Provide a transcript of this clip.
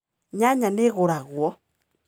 Nyanya nĩ ĩgũragwo